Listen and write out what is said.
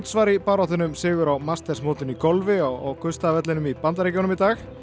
var í baráttunni um sigur á mastersmótinu í golfi á Augusta vellinum í Bandaríkjunum í dag